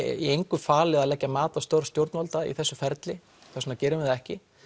í engu falið að leggja mat á störf stjórnvalda í þessu ferli og þess vegna gerum við það ekki